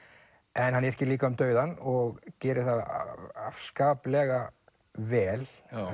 en hann yrkir líka um dauðann og gerir það afskaplega vel